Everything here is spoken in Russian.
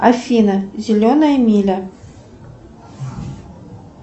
афина зеленая миля